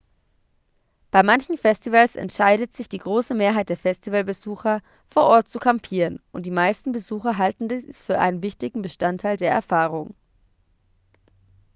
bei manchen festivals entscheidet sich die große mehrheit der festivalbesucher vor ort zu kampieren und die meisten besucher halten dies für einen wichtigen bestandteil der erfahrung